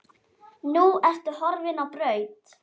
Nú ertu horfin á braut.